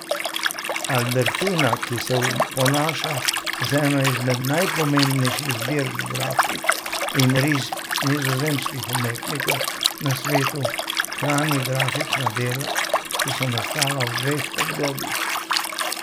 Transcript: Albertina, ki se ponaša z eno izmed najpomembnejših zbirk grafik in risb nizozemskih umetnikov na svetu, hrani grafična dela, ki so nastala v dveh obdobjih.